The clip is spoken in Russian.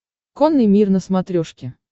конный мир на смотрешке